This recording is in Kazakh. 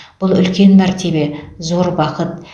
бұл үлкен мәртебе зор бақыт